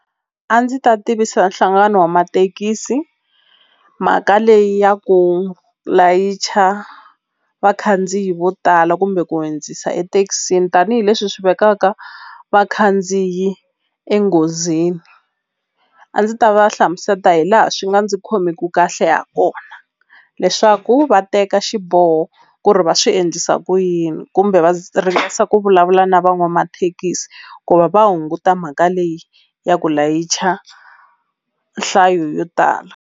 A ndzi ta tivisa nhlangano wa mathekisi mhaka leyi ya ku layicha vakhandziyi vo tala kumbe ku hundzisa ethekisini tanihileswi swi vekaka vakhandziyi enghozini a ndzi ta va hlamusela hi laha swi nga ndzi khomiku kahle ha kona leswaku va teka xiboho ku ri va swi endlisa ku yini kumbe va ringesa ku vulavula na van'wamathekisi ku va va hunguta mhaka leyi ya ku layicha nhlayo yo tala.